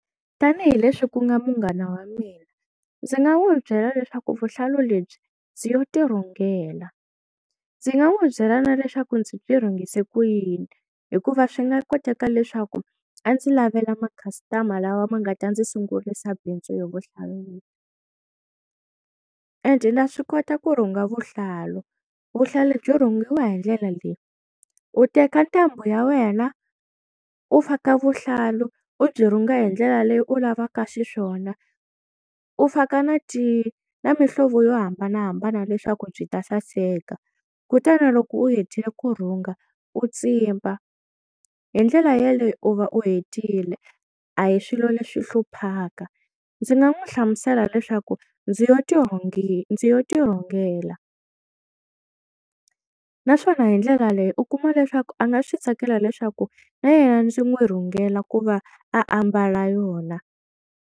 Tanihi leswi ku nga munghana wa mina ndzi nga n'wi byela leswaku vuhlalu lebyi ndzi yo ti rhungela, ndzi nga n'wi byela na leswaku ndzi byi rhungise ku yini hikuva swi nga koteka leswaku a ndzi lavela ma customer lawa ma nga ta ndzi sungurisa bindzu yo and na swi kota ku rhunga vuhlalu vuhlalu byi rhungiwa hi ndlela leyi, u teka ntambu ya wena u faka vuhlalu u byi rhunga hi ndlela leyi u lavaka xiswona u faka na ti na mihlovo yo hambanahambana leswaku byi ta saseka, kutani loko u hetile ku rhunga u tsimba hi ndlela yeleyo u va u hetile a hi swilo leswi hluphaka, ndzi nga n'wi hlamusela leswaku ndzi yo ti ndzi yo ti rhungela naswona hi ndlela leyi u kuma leswaku a nga swi tsakela leswaku na yena ndzi n'wi rhungela ku va ambala yona.